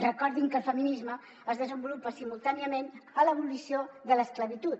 recordin que el feminisme es desenvolupa simultàniament a l’abolició de l’esclavitud